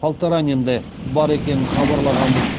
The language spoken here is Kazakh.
полторанин да бар екенін хабарлағанбыз